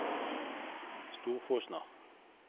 Storfosna